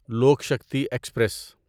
Lok Shakti express